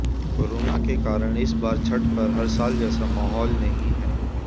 corona के कारण इस बार छठ पर हर साल जैसा माहौल नहीं है